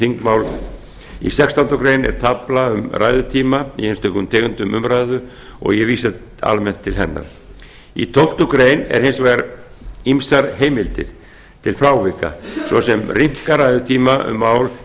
þingmál í sextándu grein er tafla með ræðutíma í einstökum tegundum umræðna og ég vísa almennt til hennar í tólftu greinar eru hins vegar ýmsar heimildir til frávika svo sem að rýmka ræðutíma um mál